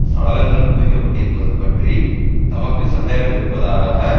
சடலங்கள் குவிக்கப்பட்டிருப்பது பற்றி தமக்கு சந்தேகமிருப்பதாக